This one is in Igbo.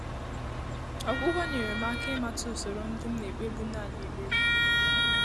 Ọ́gwụ́gwọ́ nyèrè m áká ị́màtà ùsòrò ndị́ m nà-ékpébu nāànị́ ékpèré.